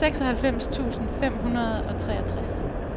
seksoghalvfems tusind fem hundrede og treogtres